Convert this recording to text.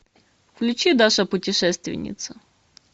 включи даша путешественница